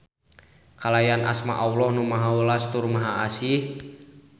Kalayan asma Alloh Nu Maha Welas tur Maha Asih.